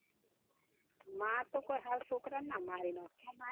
માં તો હાવ કોઈ છોકરાં ને મારી ના નાખે